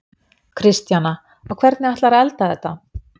Kristjana: Og hvernig ætlarðu að elda þetta?